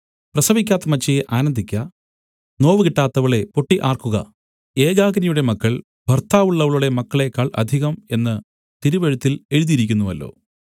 പ്രസവിക്കാത്ത മച്ചിയേ ആനന്ദിക്ക നോവുകിട്ടാത്തവളേ പൊട്ടി ആർക്കുക ഏകാകിനിയുടെ മക്കൾ ഭർത്താവുള്ളവളുടെ മക്കളേക്കാൾ അധികം എന്ന് തിരുവെഴുത്തില്‍ എഴുതിയിരിക്കുന്നുവല്ലോ